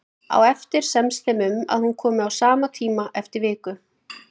Á eftir semst þeim um að hún komi á sama tíma eftir viku.